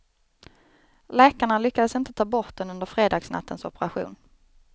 Läkarna lyckades inte ta bort den under fredagsnattens operation.